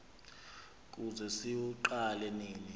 kude siwuqale nini